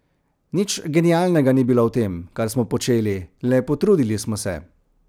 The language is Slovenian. Nič genialnega ni bilo v tem, kar smo počeli, le potrudili smo se.